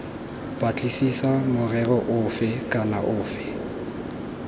batlisisa morero ofe kana ofe